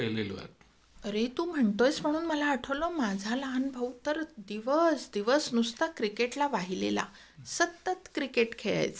अरे तू म्हणतोस म्हणून मला आठवला आहे माझा लहान भाऊ तर दिवस दिवस नुसता क्रिकेटला वाहिलेला. सतत क्रिकेट खेळायचा.